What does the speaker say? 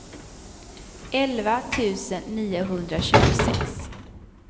elva tusen niohundratjugosex